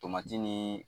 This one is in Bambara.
Tomati nii